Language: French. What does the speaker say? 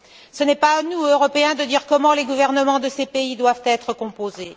Ce n'est pas à nous, Européens, de dire comment les gouvernements de ces pays doivent être composés.